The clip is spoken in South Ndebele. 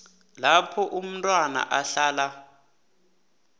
lapho umntwana ahlala